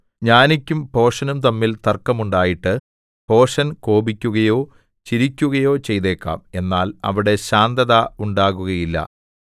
ജ്ഞാനിക്കും ഭോഷനും തമ്മിൽ തർക്കം ഉണ്ടായിട്ട് ഭോഷൻ കോപിക്കുകയോ ചിരിക്കുകയോ ചെയ്തേക്കാം എന്നാൽ അവിടെ ശാന്തത ഉണ്ടാകുകയില്ല